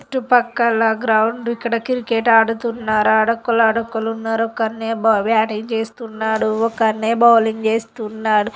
చుట్టూ ప్రక్కల గ్రౌండ్ . ఇక్కడ క్రికెట్ ఆడుతున్నారు. ఆడోక్కళ్ళు ఆడోక్కళ్ళు ఉన్నారు.ఒక అన్నయ్య బ్యాటింగ్ చేస్తున్నాడు.ఒక అన్నయ్య బౌలింగ్ చేస్తున్నారు.